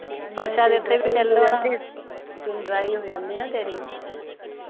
ਫਰਸ਼ਾਂ ਦੇ ਉਤੇ ਵੀ ਨੀ ਚਲ ਹੋਣਾ ਸਕੀਨ ਡਰਾਈ ਹੁੰਦੀ ਆ ਆ ਨਾ ਤੇਰੀ